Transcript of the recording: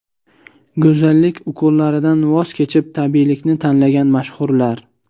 Go‘zallik ukollaridan voz kechib tabiiylikni tanlagan mashhurlar.